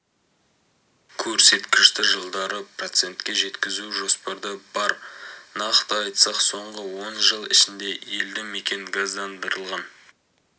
көрсеткішті жылдары процентке жеткізу жоспарда бар нақты айтсақ соңғы он жыл ішінде елді мекен газдандырылған